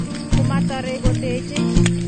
"Komatarei kotechei?"